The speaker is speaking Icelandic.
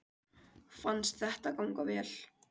Fannst þetta ganga vel